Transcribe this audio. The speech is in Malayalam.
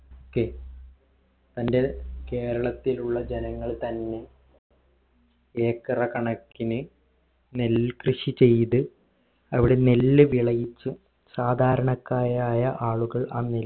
കെ തന്റെ കേരളത്തിലുള്ള ജനങ്ങൾ തന്നെ ഏക്കറ കണക്കിന് നെൽകൃഷി ചെയ്ത് അവിടെ നെല്ല് വിളയിച്ച് സാധരണക്കാരായ ആളുകൾ